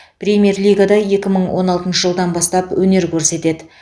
премьер лигада екі мың он алтыншы жылдан бастап өнер көрсетеді